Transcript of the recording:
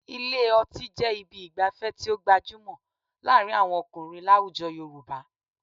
Ilé ọtí jẹ́ ibi ìgbafẹ́ tí ó gbajúmọ̀ láàrin àwọn ọkùnrin láwujọ Yorùbá